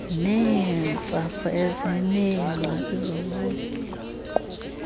neentsapho ezineengxaki zobuqu